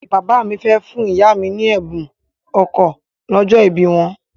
Bàbá mi fẹ́ fún ìyá mi ní ẹ̀bùn ọkọ̀ lọ́jọ́ ìbí wọn.